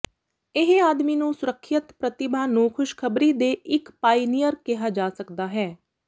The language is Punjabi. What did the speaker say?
ਇਹ ਆਦਮੀ ਨੂੰ ਸੁਰੱਖਿਅਤ ਪ੍ਰਤਿਭਾ ਨੂੰ ਖੁਸ਼ਖਬਰੀ ਦੇ ਇਕ ਪਾਇਨੀਅਰ ਕਿਹਾ ਜਾ ਸਕਦਾ ਹੈ